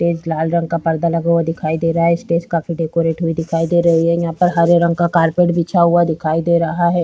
एक लाल रंग का पर्दा लगा हुआ दिखाई दे रहा है । स्टेज काफी डेकोरेट हुई दिखाई दे रही है । यहां पर हरे रंग का कारपेट बिछा हुआ दिखाई दे रहा है ।